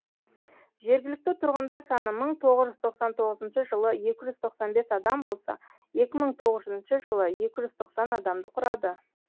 жергілікті тұрғындар саны мың тоғыз жүз тоқсан тоғызыншы жылы екі жүз тоқсан бес адам болса екі мың тоғызыншы жылы екі жүз тоқсан адамды құрады